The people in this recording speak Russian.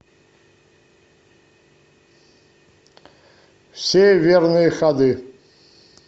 все верные ходы